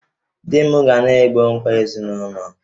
Di m ga na-egbo mkpa ezinụlọ